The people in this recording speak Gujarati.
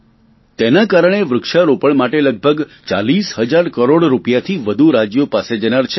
તેના કારણે વૃક્ષારોપણ માટે લગભગ ચાલીસ હજાર કરોડ રૂપિયાથી વધુ રાજ્યો પાસે જનાર છે